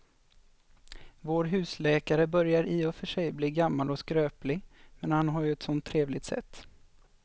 Vår husläkare börjar i och för sig bli gammal och skröplig, men han har ju ett sådant trevligt sätt!